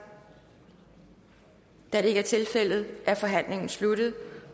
da det ikke er tilfældet er forhandlingen sluttet